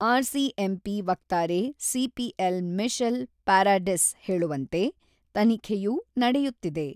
RCMP ವಕ್ತಾರೆ CPL. Michelle Paradis ಹೇಳುವಂತೆ, ತನಿಖೆಯು ನಡೆಯುತ್ತಿದೆ.